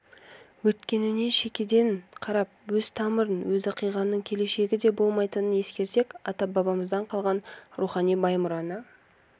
өткеніне шекеден қарап өз тамырын өзі қиғанның келешегі де болмайтынын ескерсек ата-бабадан қалған рухани бай мұраны